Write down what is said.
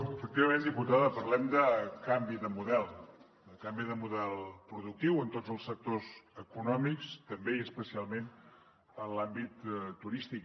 efectivament diputada parlem de canvi de model de canvi de model productiu en tots els sectors econòmics també i especialment en l’àmbit turístic